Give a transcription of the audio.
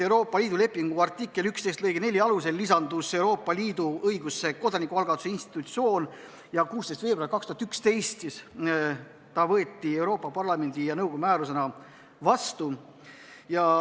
Euroopa Liidu lepingu artikli 11 lõike 4 alusel on Euroopa Liidu õigusesse lisandunud kodanikualgatuse institutsioon ja 16. veebruaril 2011 võeti see Euroopa Parlamendi ja nõukogu määrusena vastu.